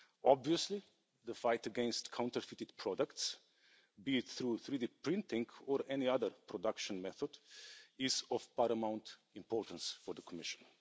Obviously, the fight against counterfeited products, be it through 3D printing or any other production method, is of paramount importance for the Commission.